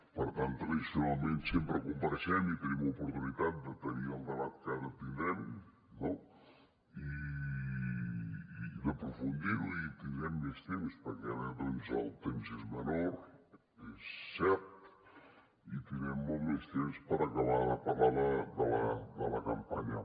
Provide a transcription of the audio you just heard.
per tant tradicionalment sempre compareixem i tenim oportunitat de tenir el debat que ara tindrem no i d’aprofundirho i tindrem més temps perquè ara doncs el temps és menor és cert i tindrem molt més temps per acabar de parlar de la campanya